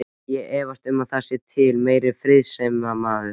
Ég efast um að það sé til meiri friðsemdarmaður.